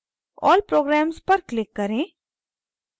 all programs पर click करें